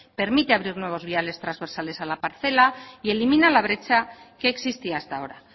permite abrir nuevos viales trasversales a la parcela y elimina la brecha que existía hasta ahora